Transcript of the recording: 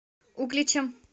угличем